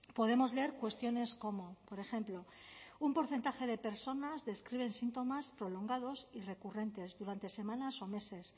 podemos leer cuestiones como por ejemplo un porcentaje de personas describen síntomas prolongados y recurrentes durante semanas o meses